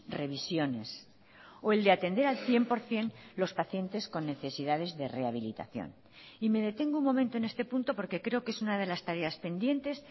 revisiones o el de atender al cien por ciento los pacientes con necesidades de rehabilitación y me detengo un momento en este punto porque creo que es una de las tareas pendientes